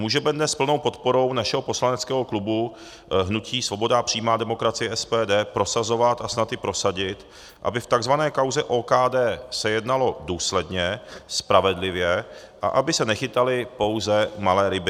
Můžeme dnes s plnou podporou našeho poslaneckého klubu hnutí Svoboda a přímá demokracie, SPD, prosazovat a snad i prosadit, aby v tzv. kauze OKD se jednalo důsledně, spravedlivě a aby se nechytaly pouze malé ryby.